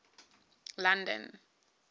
london